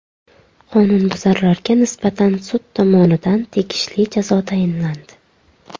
Qonunbuzarlarga nisbatan sud tomonidan tegishli jazo tayinlandi.